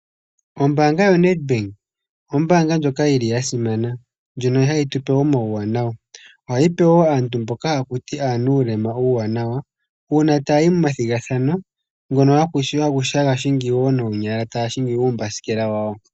Ombaanga yoNetbank oombaanga ndjoka yi li ya simana nohayi tupe omauwanawa, ohayi pewo woo aantu mboka hakuti aanuulema iiwanawa. Uuna taa yi momathigathano ngono haya hingi noonyala uumbasikela wawo.